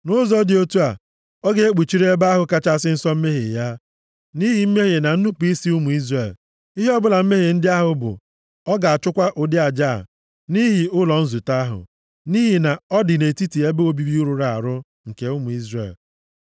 Nʼụzọ dị otu a, ọ ga-ekpuchiri Ebe ahụ Kachasị Nsọ mmehie ya, nʼihi mmehie na nnupu isi ụmụ Izrel, ihe ọbụla mmehie ndị ahụ bụ. Ọ ga-achụkwa ụdị aja a nʼihi ụlọ nzute ahụ, nʼihi na ọ dị nʼetiti ebe obibi rụrụ arụ nke ụmụ Izrel.